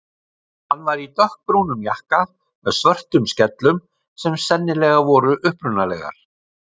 Hann var í dökkbrúnum jakka með svörtum skellum sem sennilega voru upprunalegar.